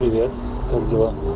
привет как дела